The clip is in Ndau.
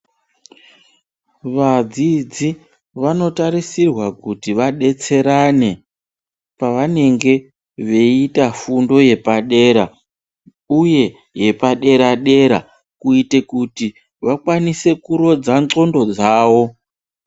Vadziodzi vanotarisirwa kuti vadetserane pevanenge veiita fundo yepadera uye yepadera-dera kuite kuti vakwanise kurodza ndxondo dzavo.